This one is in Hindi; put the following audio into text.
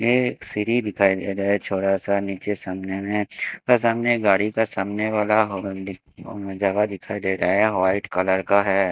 ये एक सीढ़ी दिखाई दे रहा है छोटा सा नीचे सामने में थोड़ा गाड़ी का सामने वाला जावा दिखाई दे रहा है वाइट कलर का है।